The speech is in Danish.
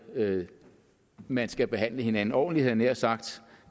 at man skal behandle hinanden ordentligt havde jeg nær sagt og